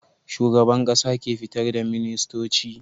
Shugaban ƙasa ke fitar da ministoci